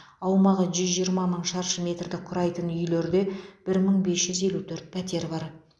аумағы жүз жиырма мың шаршы метрді құрайтын үйлерде бір мың бес жүз елу төрт пәтер бар